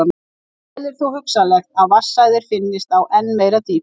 Vel er þó hugsanlegt að vatnsæðar finnist á enn meira dýpi.